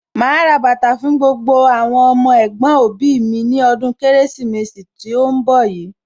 Màá rà bàtà fún gbogbo àwọn ọmọ ẹ̀gbọ̀n òbí mi ní ọdún Kérésìmesì tí ń bọ̀ yìí